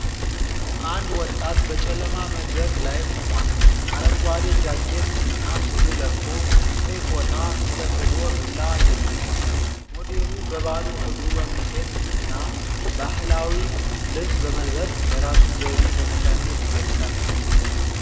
አንድ ወጣት በጨለማ መድረክ ላይ ቆሟል። አረንጓዴ ጃኬት እና ሱሪ ለብሶ፣ ቀይ ፎጣ ተጠቅልሎ ዱላ ደግፏል። ሞዴሉ በባዶ እግሩ በመሄድ እና ባህላዊ ልብስ በመልበስ የራሱን ዘይቤ በነፃነት ይገልጻል።